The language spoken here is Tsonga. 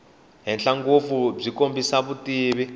henhla ngopfu byi kombisa vutivi